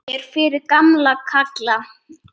Ég er fyrir gamla kalla.